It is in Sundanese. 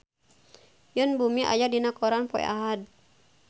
Yoon Bomi aya dina koran poe Ahad